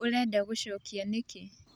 ũrenda gũcokia nĩkĩ?